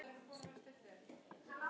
Skilin eru óljós.